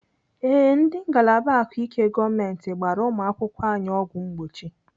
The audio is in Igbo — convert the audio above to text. Ee, ndị ngalaba ahụike gọọmenti gbara ụmụakwụkwọ anyị ọgwụ mgbochi.